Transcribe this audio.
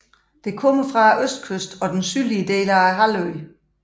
Det kommer fra østkysten og den sydlige del af halvøen